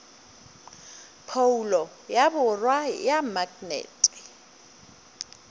phoulo ya borwa ya maknete